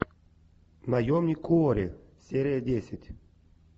наемник куорри серия десять